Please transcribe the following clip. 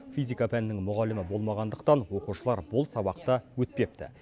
физика пәнінің мұғалімі болмағандықтан оқушылар бұл сабақты өтпепті